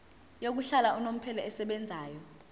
yokuhlala unomphela esebenzayo